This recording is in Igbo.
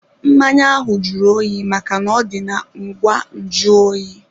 Mmanya ahụ jụrụ oyi maka n'ọdi na ngwa nju oyi.